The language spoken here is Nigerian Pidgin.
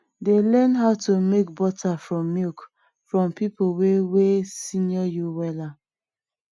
dey learn how to make butter from milk from people wey wey senior you wella